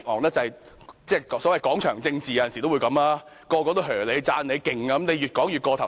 有時面對所謂"廣場政治"，所有人也稱讚你厲害，便會越說便越過頭。